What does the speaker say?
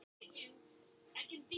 Hvað tæki þá við?